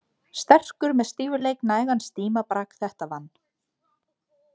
Sterkur með stífleik nægan stímabrak þetta vann.